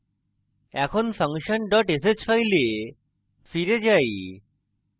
এখন function dot sh file file যাই